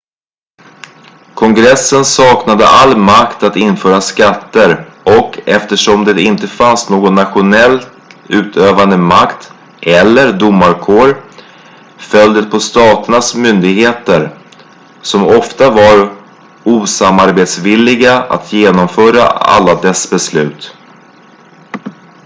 kongressen saknade all makt att införa skatter och eftersom det inte fanns någon nationell utövande makt eller domarkår föll det på staternas myndigheter som ofta var osamarbetsvilliga att genomföra alla dess beslut